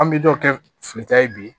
An bɛ dɔ kɛ fili ta ye bi